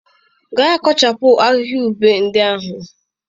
Gaa kpochapu ahịhịa ube ndị ahụ.